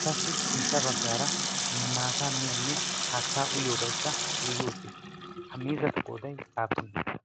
etassi sintta baggaara maataa miyoonne haattaa uyyoobaikka giigi uttiis. ha miizzatu qooday aappunee?